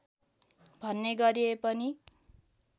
भन्ने गरिए पनि